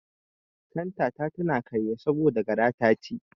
Kanta ta ta karye saboda gara ta ci.